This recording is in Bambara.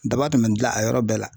Daba tɛmɛ dilan a yɔrɔ bɛɛ la.